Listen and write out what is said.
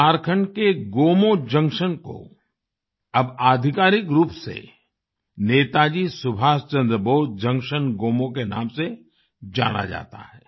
झारखंड के गोमो जंक्शन को अब आधिकारिक रूप से नेताजी सुभाष चंद्र बोस जंक्शन गोमो के नाम से जाना जाता है